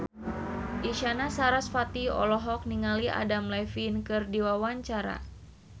Isyana Sarasvati olohok ningali Adam Levine keur diwawancara